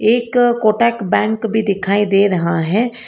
एक कोटक बैंक भी दिखाई दे रहा है।